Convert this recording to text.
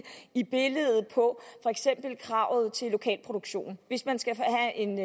i kravet til lokalproduktion hvis man skal have en